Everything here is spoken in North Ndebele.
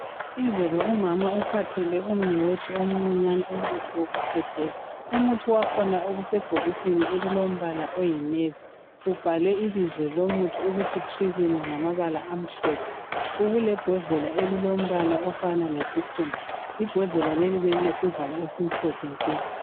Izolo umama uphathele umnewethu omcinyane umuthi wokukhwehlela. Umuthi wakhona obusebhokisini elilombala oyinevi, ubhalwe ibizo lomuthi ukuthi trilyn ngamabala amhlophe ubulebhodlela elilombala ofana lesikhumba. Ibhodlela leli belilesivalo esimhlophe nke.